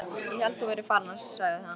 Ég hélt þú værir farinn sagði hann.